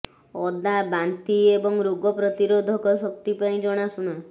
ଅଦା ବାନ୍ତି ଏବଂ ରୋଗ ପ୍ରତିରୋଧକ ଶକ୍ତି ପାଇଁ ଜଣାଶୁଣା